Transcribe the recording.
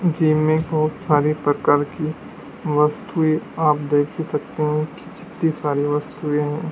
जिनमें बोहोत सारी प्रकार की वस्तुएं आप देख ही सकते है कि कितनी सारी वस्तुएं है।